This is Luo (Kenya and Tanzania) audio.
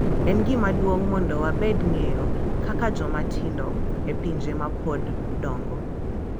En gima duong’ mondo wamed ng’eyo kaka joma tindo e pinje ma pod odongo